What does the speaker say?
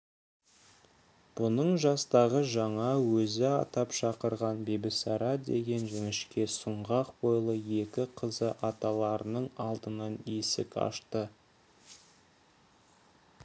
бұның жастағы жаңа өзі атап шақырған бибісара деген жіңішке сұңғақ бойлы екі қызы аталарының алдынан есік ашты